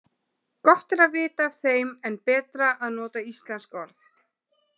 Gott er að vita af þeim en betra að nota íslensk orð.